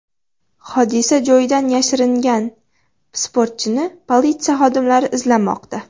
Hodisa joyidan yashiringan sportchini politsiya xodimlari izlamoqda.